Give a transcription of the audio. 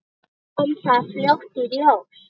Kom það fljótt í ljós?